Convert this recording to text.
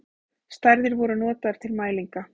Stærðir voru notaðar til mælinga.